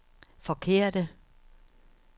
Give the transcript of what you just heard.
forkerte